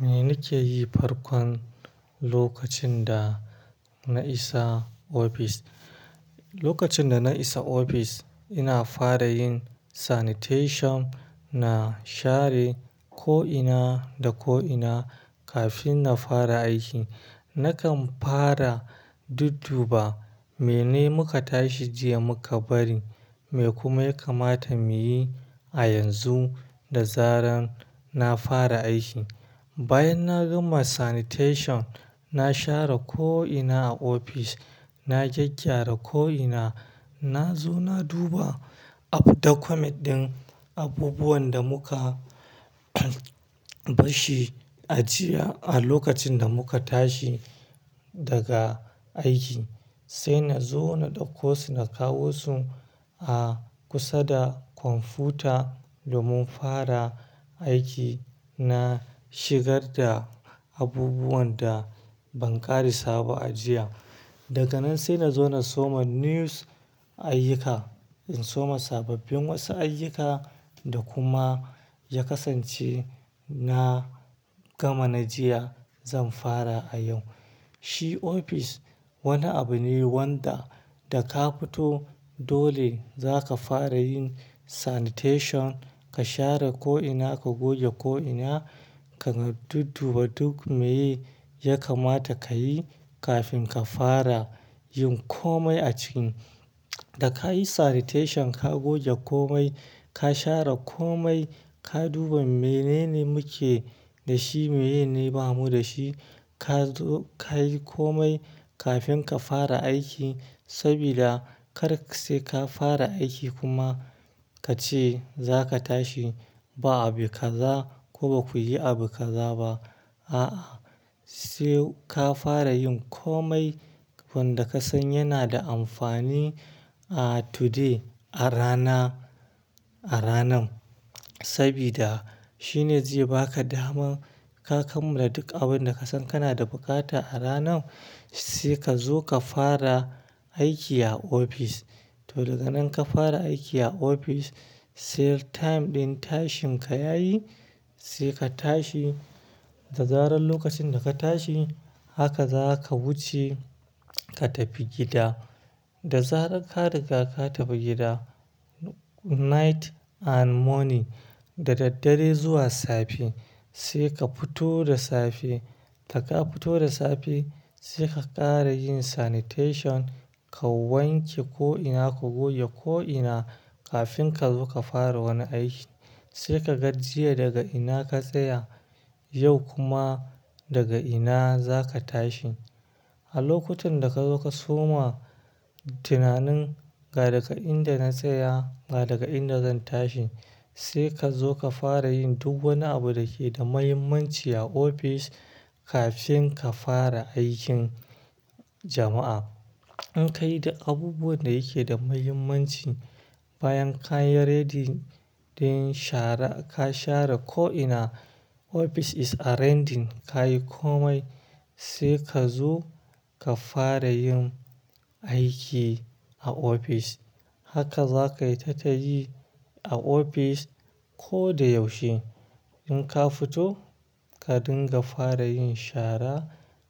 Mene ke yi farkon lokacin da na isa ofis? Lokacin da na isa ofis, ina fara yin sanitation, na share ko'ina da ko'ina kafin na fara aiki. Nakan fara dudduba mene muka tashi jiya muka bari, me kuma ya kamata mu yi a yanzu da zaran na fara aiki. Bayan na gama sanitation, na share ko'ina a ofis, na gyaggyara ko'ina, na zo na duba up the commit ɗin abubuwan da muka bashi a jiya a lokacin da muka tashi daga aiki. Sai na zo na ɗauko su, na kawo su a kusa da kwamfuta domin fara aiki. Na shigar da abubuwan da ban ƙara saba a jiya. Daga nan sai na zo na soma news ayyuka. In soma sababbin wasu ayyuka da kuma ya kasance na gama na jiya zan fara a yau. Shi ofis wani abu ne wanda da ka fito dole za ka fara yin sanitation, ka share ko'ina, ka goge ko'ina, ka dudduba duk meye ya kamata ka yi kafin ka fara yin komai a cikin. Da ka yi sanitation, ka goge komai, ka share komai, ka duba menene muke da shi, menene ba mu da shi, ka zo ka yi komai kafin ka fara aiki. Sabida kar sai ka fara aiki kuma ka ce za ka tashi ba abu ka za ko ba ku ji abu ka za ba. A'a, sai ka fara yin komai wanda ka san yana da amfani a today, a rana, a ranan. Sabida shine zai ba ka daman ka kammala duk abin da ka san kana da buƙata a ranan. Sai ka zo ka fara aiki a ofis. To, daga nan ka fara aiki a ofis, sai time ɗin tashin ka ya yi sai ka tashi. Da zaran lokacin da ka tashi, haka za ka wuce ka tafi gida. Da zarar ka riga ka tafi gida, night and morning, dadaddare zuwa safe sai ka fito da safe. Da ka fito da safe sai ka ƙara yin sanitation, ka wanke ko'ina, ka goge ko'ina kafin ka zo ka fara wani aiki. Sai ka ga jiya daga ina ka tsaya, yau kuma daga ina za ka tashi. A lokacin da ka zo ka soma tunanin ga daga inda na tsaya, ga daga inda zan tashi sai ka zo ka fara yin duk wani abu da ke da mahimmanci a ofis kafin ka fara aikin jama'a. In ka yi da abubuwan da yake da mahimmanci, bayan ka yi ready din shara, ka share ko'ina, office is ready, ka yi komai sai ka zo ka fara yin aiki a ofis. Haka za ka yi ta tayi a ofis ko da yaushe. In ka fito, ka dinga fara yin shara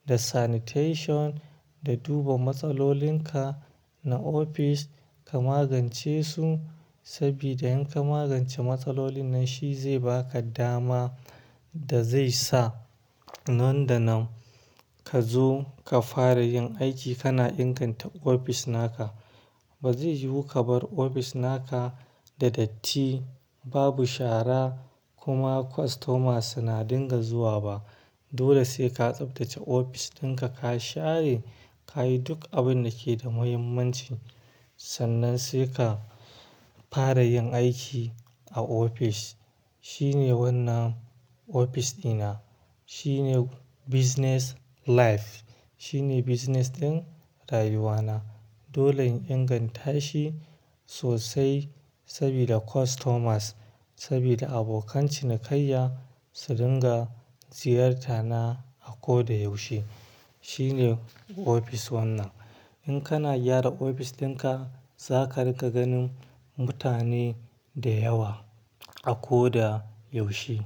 da sanitation da duba matsalolin ka na ofis ka magance su. Sabida in ka magance matsalolin nan shi zai ba ka dama da zai sa nan da nan ka zo ka fara yin aiki kana inganta ofis na ka. Ba zai yiwu ka bar ofis na ka da datti, babu shara kuma customers suna dinga zuwa ba. Dole sai ka tsaftace ofis din ka, ka share, ka yi duk abin da ke da mahimmanci. Sannan sai ka fara yin aiki a ofis. Shine wannan ofis ɗina, shine business life, shine business ɗin rayuwa na. Dole in inganta shi sosai sabida customers, sabida abokan cinikayya su dinga ziyarta na a ko da yaushe. Shine ofis wannan. In kana gyara ofis din ka, za ka riga ganin mutane da yawa a ko da yaushe.